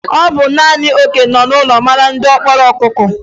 Ọ bụ naanị okenye nọ n'ụlọ maara diọkpara ọkụkọ.